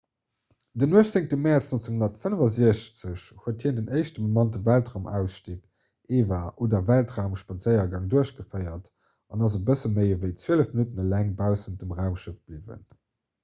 den 18. mäerz 1965 huet hien den éischte bemannte weltraumausstig eva oder weltraumspadséiergang duerchgeféiert an ass e bësse méi ewéi zwielef minutten eleng baussent dem raumschëff bliwwen